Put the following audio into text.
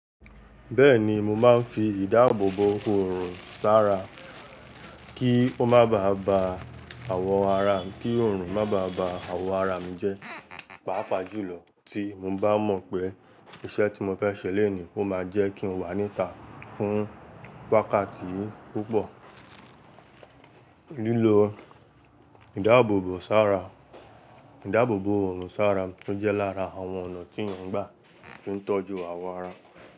Bẹ́ẹ̀ni, mo máa ń fi ìdáàbòbò òòrùn sára, kí ó má bá ba àwọ̀ ara mi, kí òòrùn má bá ba àwọ̀ ara mi jẹ́. Pápá julọ tí mo ba mo pé iṣẹ ti mo fẹ ṣe lẹni o maa je kin wà níta fún wákàtí púpò lilọ. Ìdáàbòbò sára, ìdáàbòbò òòrùn sára ó jẹ́ lára àwọn ọ̀nà tí mo ń gbà tí ń tọ́jú àwọ̀ ara mi.